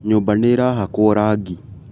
Nyũmba nĩĩrahakwo rangi